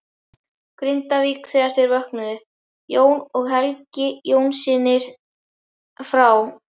Grindavík þegar þeir vöknuðu, Jón og Helgi Jónssynir frá